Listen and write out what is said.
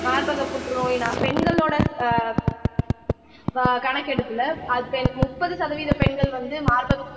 மார்பக புற்றுநோய்ன்னா பெண்களோட ஆஹ் ஆஹ் கணக்கெடுப்புல ஆஹ் முப்பது சதவீத பெண்கள் வந்து மார்பக